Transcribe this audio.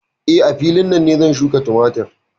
Eh, a filin nan ne zan shuƙa tumatur.